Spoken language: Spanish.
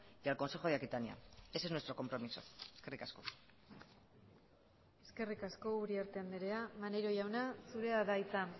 y al consejo de aquitania ese es nuestro compromiso eskerrik asko eskerrik asko uriarte andrea maneiro jauna zurea da hitza